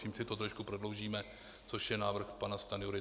Tím si to trošku prodloužíme, což je návrh pana Stanjury.